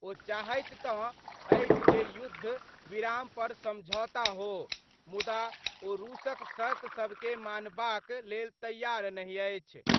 ओ चाहैत तं अछि जे युद्ध विराम पर समझौता हो, मुदा ओ रूसक शर्त सभके मानबाक लेल तैयार नहि अछि।